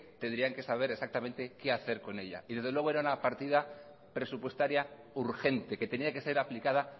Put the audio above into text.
tendrían que saber exactamente qué hacer con ella y desde luego era una partida presupuestaria urgente que tenía que ser aplicada